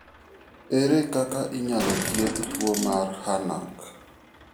Ere kaka inyalo thiedh tuwo mar HANAC?